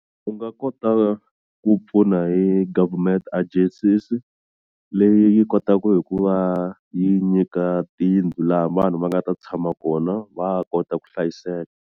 U nga kota ku pfuna hi government agencies leyi yi kotaku hi ku va yi nyika tiyindlu laha vanhu va nga ta tshama kona va kota ku hlayiseka.